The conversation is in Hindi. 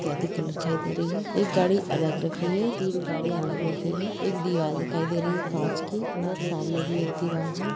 क्या दि कलर दिखाई दे रही है एक गाडी अलग रखी है तीन गाडी अलग रखी है एक दीवार दिखाई दे रही है काँच की और सामने भी एक दीवार है।